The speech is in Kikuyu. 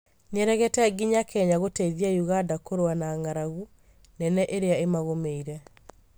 Nĩaregete nginya Kenya gũteithia Uganda kũrũa na ng'aragu nene ĩria ĩmagũmĩire